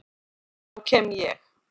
Þá kem ég.